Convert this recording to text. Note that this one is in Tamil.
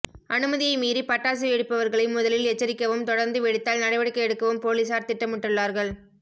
அனுமதியை மீறி பட்டாசு வெடிப்பவர்களை முதலில் எச்சரிக்கவும் தொடர்ந்து வெடித்தால் நடவடிக்கை எடுக்கவும் போலீசார் திட்டமிட்டுள்ளார்கள்